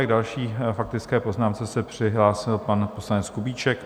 K další faktické poznámce se přihlásil pan poslanec Kubíček.